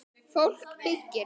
Fólk byggir.